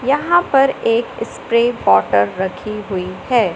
यहां पर एक स्प्रे बॉटल रखी हुई है।